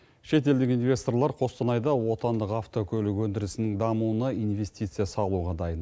шетелдік инвесторлар қостанайда отандық автокөлік өндірісінің дамуына инвестиция салуға дайын